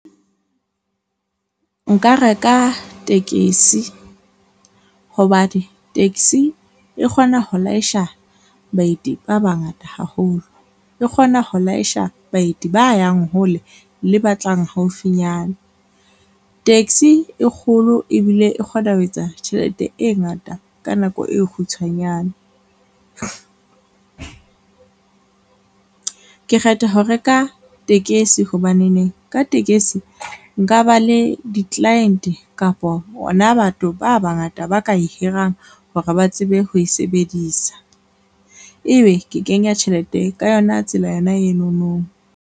Nka reka tekesi, hobane taxi e kgona ho laesha baeti ba bangata haholo, e kgona ho laesha baeti ba yang hole le batlang haufinyana. Taxi e kgolo ebile e kgona ho etsa tjhelete e ngata ka nako e kgutshwanyane. Ke kgetha ho reka tekesi hobaneneng ka tekesi, nka ba le di-client kapi bona batho ba bangata ba ka e hirang hore ba tsebe ho e sebedisa, ebe ke kenya tjhelete ka yona tsela yona enono.